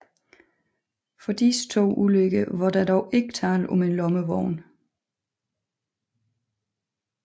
For disse to ulykker var der dog ikke tale om en lommevogn